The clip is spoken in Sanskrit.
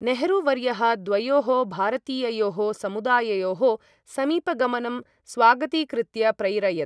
नेहरू वर्यः द्वयोः भारतीययोः समुदाययोः समीपगमनं स्वागतीकृत्य प्रैरयत्।